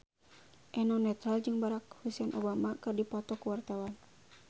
Eno Netral jeung Barack Hussein Obama keur dipoto ku wartawan